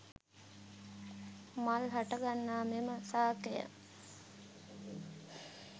මල් හටගන්නා මෙම ශාකය